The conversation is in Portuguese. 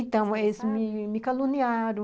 Então, eles me me caluniaram.